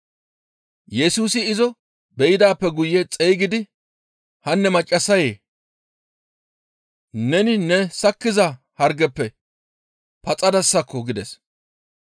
Yesusi izo be7idaappe guye xeygidi, «Hanne maccassayee! Neni nena sakkiza hargezappe paxadasakko!» gides.